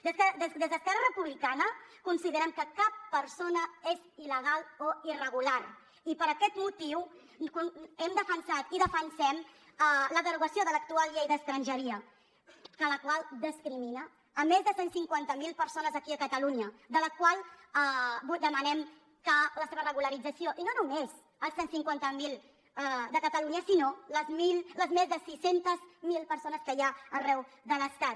des d’esquerra republicana considerem que cap persona és il·legal o irregular i per aquest motiu hem defensat i defensem la derogació de l’actual llei d’estrangeria la qual discrimina més de cent i cinquanta miler persones aquí a catalunya de les quals demanem la seva regularització i no només les cent i cinquanta miler de catalunya sinó les més de sis cents miler persones que hi ha arreu de l’estat